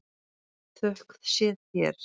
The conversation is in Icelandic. Þökk sé þér.